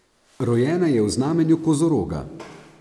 Rojena je v znamenju kozoroga.